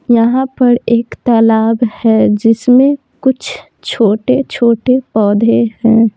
यहां पर एक तालाब है जिसमें कुछ छोटे-छोटे पौधे हैं।